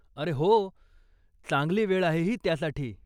अरे हो, चांगली वेळ आहे ही त्यासाठी.